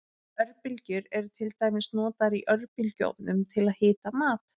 Örbylgjur eru til dæmis notaður í örbylgjuofnum til að hita mat.